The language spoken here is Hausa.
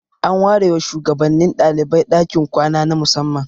An ware wa shugabannin dalibai dakin kwana na musamman.